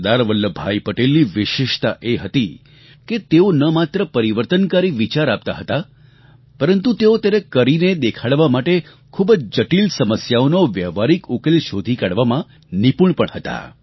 સરદાર વલ્લભભાઈ પટેલની વિશેષતા એ હતી કે તેઓ ન માત્ર પરિવર્તનકારી વિચાર આપતા હતા પરંતુ તેઓ તેને કરીને દેખાડવા માટે ખૂબ જ જટિલ સમસ્યાનો વ્યવહારિક ઉકેલ શોધી કાઢવામાં નિપુણ પણ હતા